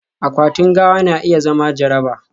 akwatin gawa na iya zama jaraba